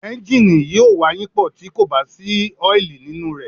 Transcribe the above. Ẹ́ńgìnì yóò wayínpọ̀, tí kò bá sí ọ́ìlì nínú rẹ̀.